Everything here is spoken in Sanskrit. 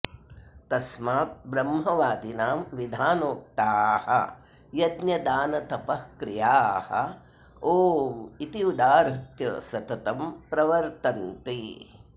तस्मात् ब्रह्मवादिनां विधानोक्ताः यज्ञदानतपःक्रियाः ओम् इति उदाहृत्य सततं प्रवर्तन्ते